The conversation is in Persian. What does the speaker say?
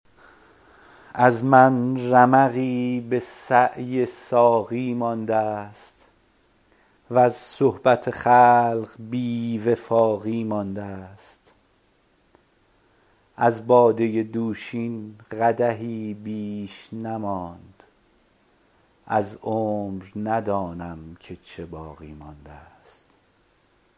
از من رمقی به سعی ساقی مانده است وز صحبت خلق بی وفاقی مانده است از باده دوشین قدحی بیش نماند از عمر ندانم که چه باقی مانده است